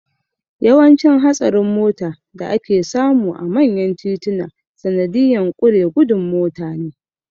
Yawancin hatsarin mota da ake samu a manyan tituna sanadiyan ƙure gudun mota ne